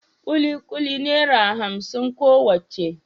kikuli naira hamsin kowacce